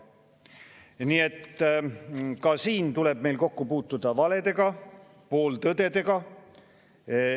" Nii et ka siin tuleb meil kokku puutuda valedega, pooltõdedega.